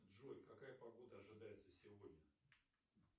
джой какая погода ожидается сегодня